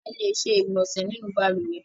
A lè ṣe ìgbọ̀nsẹ̀ nínú balùwẹ́